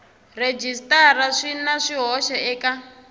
rhejisitara swi na swihoxo eka